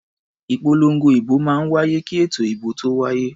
Ìpolongo ìbò máa ń wáyé kí ètò ìbò tó wáyé.